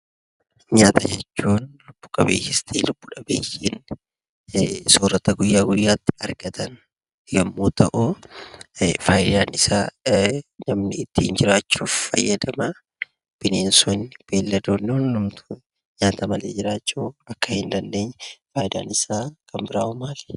Nyaata jechuun lubbu qabeeyyiinis ta'e lubbu dhabeeyyiin soorata guyyaa guyyaatti argatan yommuu ta'uu faayidaan isaa namni ittiin jiraachuuf fayyadamaa. Bineensonni, beelladoonni hundumtuu nyaata malee jiraachuu akka hin dandeenye faayidaan isaa kan biraawoo maali?